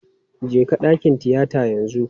Jeka dakin tiyata yanzu!